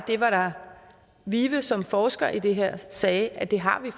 vive som forsker i det her sagde at det har vi